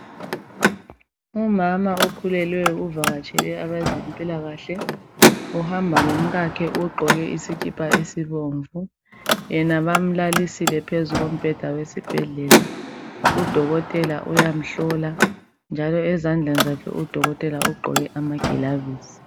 umama okhulelweyo uvakatshele abezempilakahle uhamba lomkakhe ugqoke isikipa esibomvu yena bamulalisile phezu kombheda wesibhedlela yena bayamuhlola njalo ezandleni zakhe udokotela ugqoke amagilavisi